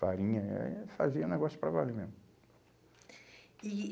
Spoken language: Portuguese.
Farinha, eh fazia negócio para valer mesmo. E